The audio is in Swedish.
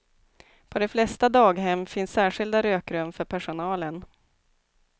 På de flesta daghem finns särskilda rökrum för personalen.